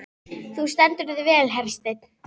Þú stendur þig vel, Hersteinn!